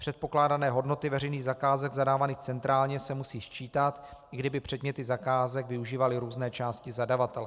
Předpokládané hodnoty veřejných zakázek zadávaných centrálně se musí sčítat, i kdyby předměty zakázek využívaly různé části zadavatele.